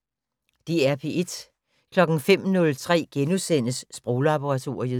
DR P1